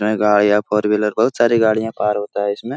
में गाड़ियां four wheeler बहुत सारी गाड़ियां पार होता हैं इसमें ।